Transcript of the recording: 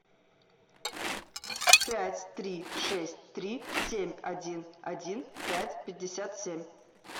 пять три шесть три семь один один пять пятьдесят семь